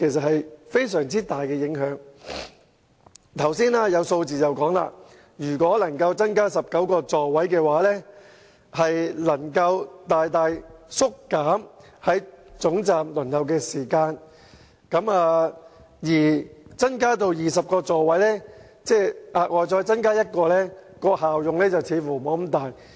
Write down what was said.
我們從剛才的數字得知，如果小巴座位增加至19個，將能大大縮短在總站的候車時間，但如果再額外增加1個座位至20個，卻似乎沒有明顯的效用。